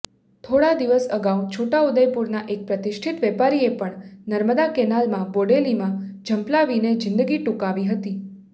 થોડા દિવસ અગાઉ છોટાઉદેપુરના એક પ્રતિષ્ઠીત વેપારીએ પણ નર્મદા કેનાલમાં બોડેલીમાં ઝંપલાવીને જિંદગી ટૂંકાવી હતી